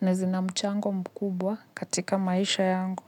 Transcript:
na zina mchango mkubwa katika maisha yangu.